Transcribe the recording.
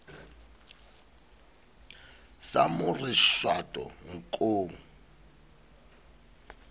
sa mo re shwato nkong